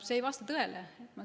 See ei vasta tõele.